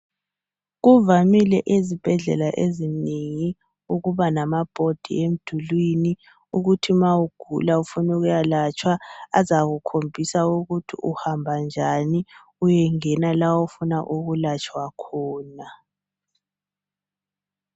Kuvamile ezibhedlela ezinengi ukuba lamabhodi emdulwini ukuthi ma ugula ufuna ukuya latshalwa azakukhombisa ukuthi uhamba njani uyengena la ofuna ukulatshwa khona